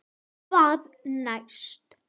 Hvað næst?